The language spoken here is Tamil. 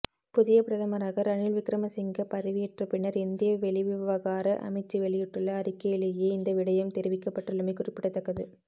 புதிய பிரதமராக ரணில் விக்கிரமசிங்க பதவியேற்றப் பின்னர் இந்திய வெளிவிவகார அமைச்சு வெளியிட்டுள்ள அறிக்கையிலேயே இந்த விடயம் தெரிவிக்கப்பட்டுள்ளமை குறிப்பிடத்தக்கது